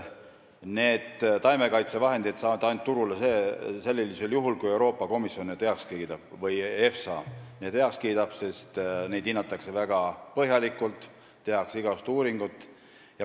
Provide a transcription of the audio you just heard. Taimekaitsevahendid jõuavad turule ainult sellisel juhul, kui Euroopa Komisjon või EFSA need heaks kiidab, sest neid hinnatakse väga põhjalikult, tehakse igasuguseid uuringuid.